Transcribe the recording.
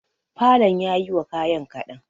falon yayi wa kayan kaɗan.